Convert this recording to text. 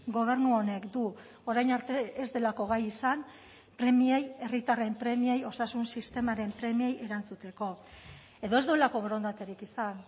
gobernu honek du orain arte ez delako gai izan premiei herritarren premiei osasun sistemaren premiei erantzuteko edo ez duelako borondaterik izan